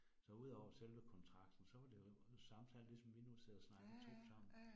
Så udover selve kontrakten, så var det jo samtale ligesom vi nu sidder og snakker 2 sammen